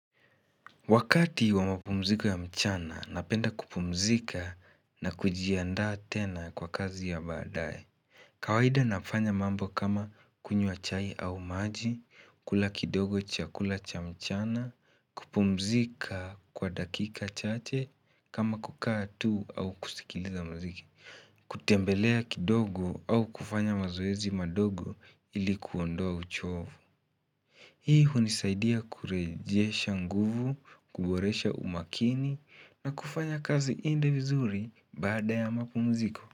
Wakati wa mapumziko ya mchana, napenda kupumzika na kujiandaa tena kwa kazi ya badae. Kawaida nafanya mambo kama kunywa chai au maji, kula kidogo chakula cha mchana, kupumzika kwa dakika chache kama kukaa tuu au kusikiliza mziki, kutembelea kidogo au kufanya mazoezi madogo ili kuondoa uchovu. Hii hunisaidia kurejesha nguvu, kuboresha umakini na kufanya kazi iende vizuri baada ya mapumziko.